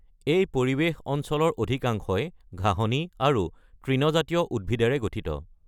এই পৰিৱেশ অঞ্চলৰ অধিকাংশই ঘাঁহনি আৰু তৃণজাতীয় উদ্ভিদেৰে গঠিত।